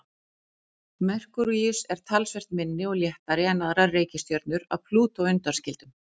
Merkúríus er talsvert minni og léttari en aðrar reikistjörnur að Plútó undanskildum.